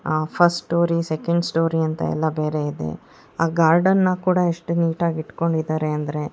ಆ first storey second storey ಅಂತ ಎಲ್ಲ ಬೇರೆ ಇದೆ ಆ ಗಾರ್ಡನ್ನ ಕೂಡ ಎಷ್ಟು ನೀಟಾ ಗಿ ಇಟ್ಟುಕೊಂಡಿದ್ದಾರೆ ಅಂದ್ರೆ --